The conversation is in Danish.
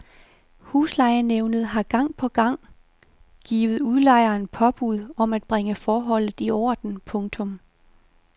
Huslejenævnet har gang på gang har givet udlejeren påbud om at bringe forholdet i orden. punktum